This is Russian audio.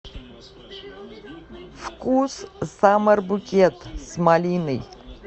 вкус саммер букет с малиной